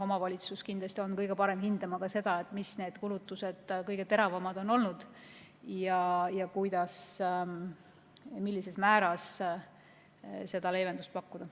Omavalitsus on kindlasti kõige parem hindama ka seda, millised kulutused kõige teravamad on olnud ja kuidas või millisel määral leevendust pakkuda.